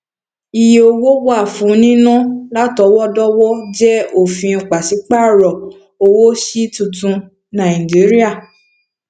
ìyè owó wà fún nínà látọwọdọwọ jẹ ofin pasiparo owó sí tuntun nàìjíríà